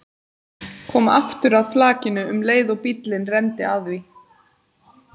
Kom aftur að flakinu um leið og bíllinn renndi að því.